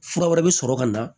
Fura wɛrɛ bi sɔrɔ ka na